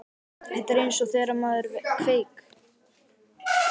Þetta er eins og þegar maður kveik